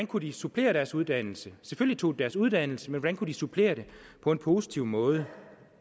kunne supplere deres uddannelse selvfølgelig tog de deres uddannelse men kunne supplere det på en positiv måde